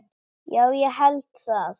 Já, ég held það.